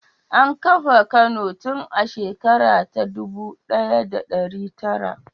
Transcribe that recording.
An kafa Kano tun a shekara ta dubu ɗaya da ɗari tara.